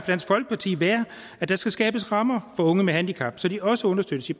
dansk folkeparti være at der skal skabes rammer for unge med handicap så de også understøttes i